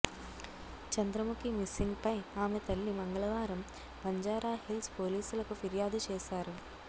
చంద్రముఖి మిస్సింగ్పై ఆమె తల్లి మంగళవారం బంజారాహిల్స్ పోలీసులకు ఫిర్యాదు చేశారు